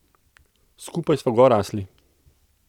Skupaj sva gor rasli.